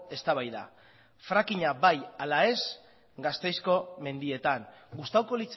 eztabaida fracking a bai ala ez gasteizko mendietan gustatuko